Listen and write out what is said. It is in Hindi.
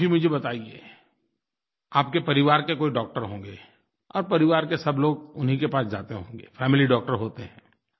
आप ही मुझे बताइए आपके परिवार के कोई डॉक्टर होंगे और परिवार के सब लोग उन्हीं के पास जाते होंगे फैमिली डॉक्टर होते हैं